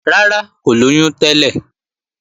Rárá, kò lóyún tẹ́lẹ̀